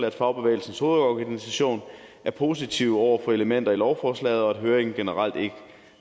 at fagbevægelsens hovedorganisation er positive over for elementer i lovforslaget og at høringen generelt ikke